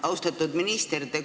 Austatud minister!